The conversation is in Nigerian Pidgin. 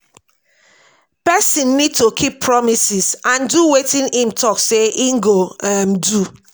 person need to keep promises and do wetin im talk sey im go um do